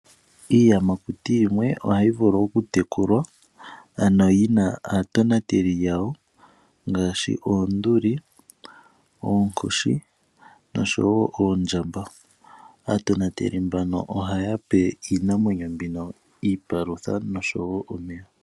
Iiyamakuti yimwe ohayi vulu okutekulwa, ano yi na aatonateli yawo ngaashi oonduli, oonkoshi noshowo oondjamba. Aatonateli mbano ohaya pe iinamwenyo mbino iipalutha noshowo omeya.